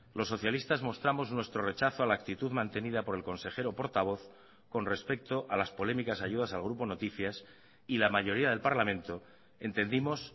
los socialistas mostramos nuestro rechazo a la actitud mantenida por el consejero portavoz con respecto a las polémicas ayudas al grupo noticias y la mayoría del parlamento entendimos